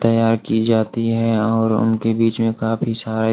तैयार की जाती है और उनके बीच में काफी सारे --